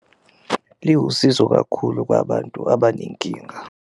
Liwusizo kakhulu kwabantu abanenkinga.